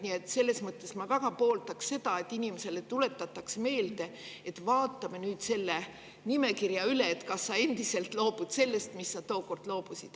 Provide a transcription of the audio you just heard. Nii et selles mõttes ma väga pooldan seda, et inimesele tuletatakse meelde, et vaatame nüüd selle nimekirja üle, kas sa endiselt loobud sellest, millest sa tookord loobusid.